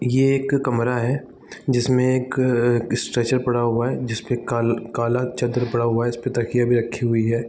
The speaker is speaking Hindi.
ये एक कमरा है जिसमें एक अ स्ट्रेचर पड़ा हुआ है जिस पे काल काला चद्दर पड़ा हुआ है इस पे तकिया भी रखी हुई है।